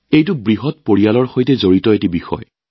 এইটো এটা খুব ডাঙৰ পৰিয়ালৰ লগত জড়িত বিষয়